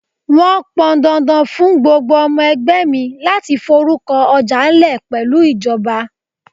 Wọn pọn dandan fún gbogbo ọmọ ẹgbẹ́ mi láti forúkọ ọjà lè pẹ̀lú ìjọba.